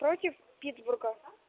против питтсбурга